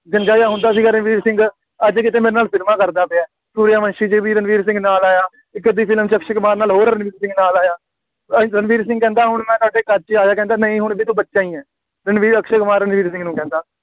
ਗੰਜ਼ਾ ਜਿਹਾ ਹੁੰਦਾ ਸੀਗਾ ਰਣਬੀਰ ਸਿੰਘ, ਅੱਜ ਕਿਤੇ ਮੇਰੇ ਨਾਲ ਫਿਲਮਾਂ ਕਰਦਾ ਪਿਆ, ਸੂਰਆਵੰਸ਼ੀ ਦੇ ਵਿੱਚ ਵੀ ਰਣਬੀਰ ਸਿੰਘ ਨਾਲ ਆਇਆ, ਇੱਕ ਅੱਧੀ ਫਿਲਮ ਵਿੱਚ ਅਕਸ਼ੇ ਕੁਮਾਰ ਨਾਲ ਹੋਰ ਰਣਬੀਰ ਸਿੰਘ ਨਾਲ ਆਇਆ, ਰਣਬੀਰ ਸਿੰਘ ਕਹਿੰਦਾ ਹੁਣ ਮੈਂ ਤੁਹਾਡੇ ਕੱਦ 'ਚ ਆਇਆ, ਕਹਿੰਦਾ ਨਹੀਂ ਹੁਣ ਵੀ ਤੂੰ ਬੱਚਾ ਹੀ ਹੈਂ, ਰਣਬੀਰ, ਅਕਸ਼ੇ ਕੁਮਾਰ ਰਣਬੀਰ ਸਿੰਘ ਨੂੰ ਕਹਿੰਦਾ,